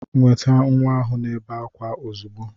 Nweta nwa ahu na-ebe akwa ozugbo.